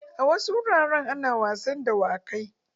A wasu wuraren ana wasan dawakai.